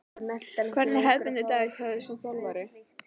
Hvernig er hefðbundinn dagur hjá þér sem þjálfari?